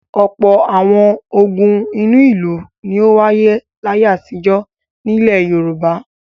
Ọ̀pọ̀ àwọn ogun inú ìlú ni ó wáyé láyé àtijọ́ nílẹ̀ Yorùbá.